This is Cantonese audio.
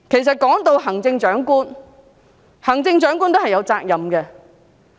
說到行政長官，她其實都是有責任的。